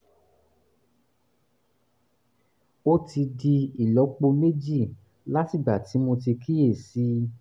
ó ti di ìlọ́po méjì látìgbà tí mo ti kíyè sí i